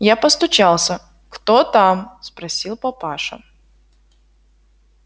я постучался кто там спросила папаша